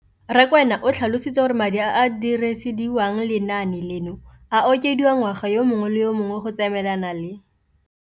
Rakwena o tlhalositse gore madi a a dirisediwang lenaane leno a okediwa ngwaga yo mongwe le yo mongwe go tsamaelana le